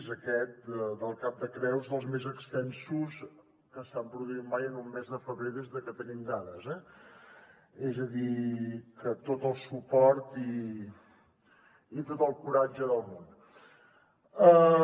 aquest del cap de creus dels més extensos que s’han produït mai en un mes de febrer des que tenim dades eh és a dir que tot el suport i tot el coratge del món